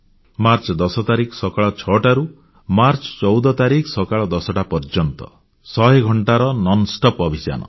March 10 ତାରିଖ ସକାଳ 6ଟାରୁ ମାର୍ଚ୍ଚ 14 ତାରିଖ ସକାଳ 10ଟା ପର୍ଯ୍ୟନ୍ତ 100 ଘଣ୍ଟାର ନିରବଚ୍ଛିନ୍ନ ଅଭିଯାନ